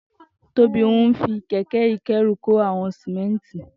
Tobi n fi kẹ̀kẹ̀ ikẹ̀rú kó awọn sìmẹ̀ntí